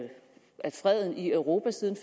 freden i europa siden